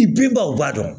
I binba o b'a dɔn